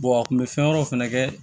a kun bɛ fɛn wɛrɛw fɛnɛ kɛ